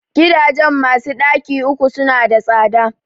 Gidajen masu ɗaki uku su na da tsada